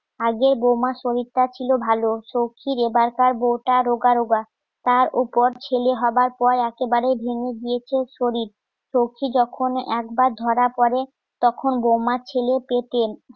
আগে বৌমার শরীরটা ছিল ভালো সব্জি, রেবারকার, বউটা রোগা রোগা তার উপর ছেলে হবার পর একেবারে ভেঙ্গে গিয়েছে শরীর শক্তি যখন একবার ধরা পড়ে তখন বউমার ছেলে পেটে